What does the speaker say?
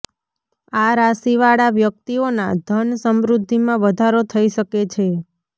આ રાશિ વાળા વ્યક્તિઓના ધન સમૃદ્ધિમાં વધારો થઇ શકે છે